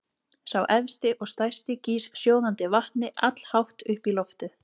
Sá efsti og stærsti gýs sjóðandi vatni allhátt upp í loftið.